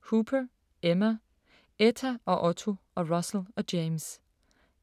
Hooper, Emma: Etta og Otto og Russell og James